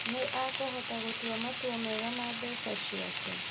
Nĩ akũhota gũtũa matua mega ma mbeca ciake